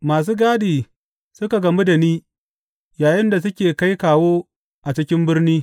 Masu gadi suka gamu da ni yayinda suke kai kawo a cikin birni.